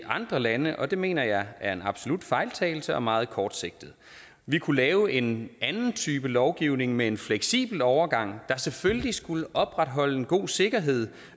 andre lande og det mener jeg er en absolut fejltagelse og meget kortsigtet vi kunne lave en anden type lovgivning med en fleksibel overgang der selvfølgelig skulle opretholde en god sikkerhed